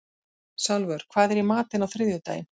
Salvör, hvað er í matinn á þriðjudaginn?